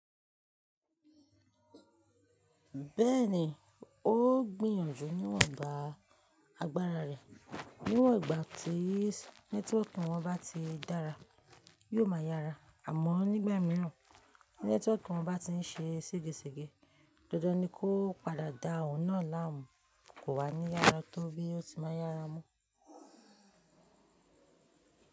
Bẹ́ẹ̀ni, ó gbìyànjú níwọ̀nba agbára rẹ̀. Níwọ̀n ìgbà tí nẹ́tíwọ̀kì wọn bá ti dára, yóò ma yára, àmọ́ nígbà mìíràn nẹ́tíwọ̀kì wọn bá ti ń ṣe segesege, dandan ni kó padà dá oun na láàmú, kò wá ní yára tó bí ó ti máa yára mọ́.